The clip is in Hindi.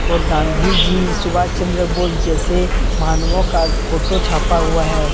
और गांधी जी सुभाष चंद्र बोस जैसे मानवों का फोटो छापा हुआ है।